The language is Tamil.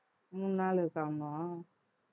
மூணு நாள் இருக்காமா